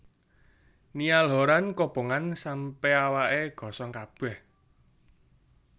Niall Horran kobongan sampe awake gosong kabeh